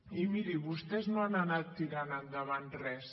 i miri vostès no han anat tirant endavant res